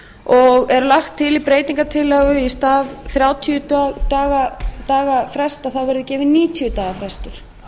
og er lagt til í breytingartillögu í stað þrjátíu daga frests verði gefinn níutíu daga frestur